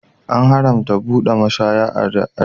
An haramta buɗe mashaya a arewa.